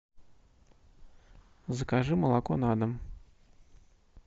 закажи молоко на дом